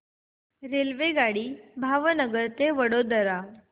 रेल्वेगाडी भावनगर ते वडोदरा